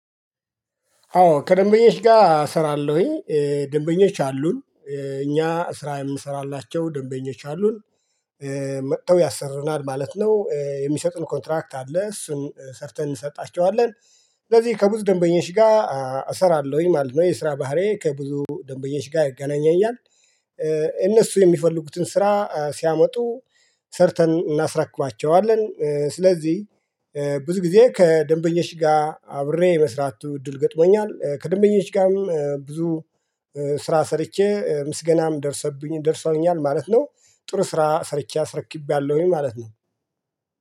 አዎ ከደንበኞች ጋር እሰራለሁኝ ደንበኞች አሉን እኛ ስራ የምሰራላቸው ደንበኞች አሉን መጥተው ያሰሩናል ማለት ነው የሚሰጡን ኮንትራክት አለ እሱን ሰርተን እንሰጣቸዋለን። ስለዚህ ከብዙ ደንበኞች ጋር እሰራለሁኝ ማለት ነው የስራ ባህሪዬ ከብዙ ደንበኞች ጋር ያገናኘኛል። እነሱ የሚፈልጉትን ስራ ሲያመጡ ሰርተን እናስረክባቸዋለን። ስለዚህ ብዙ ጊዜ ከደንበኞች ጋር አብሬ የመስራቱ እድል ገጥሞኛል ከደንበኞች ጋርም ብዙ ስራ ሰርቼ ምስገናም ደርሶብኝ ደርሶኛል ማለት ነው። ጥሩ ስራ ሰርቼ አስረክቤያለሁኝ ማለት ነው።